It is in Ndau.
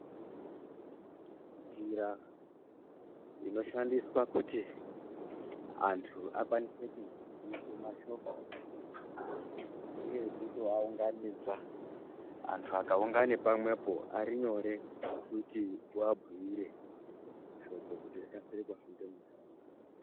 Njira inokwanisa kuti antu akwanise kuziiswa mashoko ngeyekutoaunganidza antu akaungana pamwepo ari nyore kuti uabhuyire shoko kuti rikasire kuhamba muntaraunda.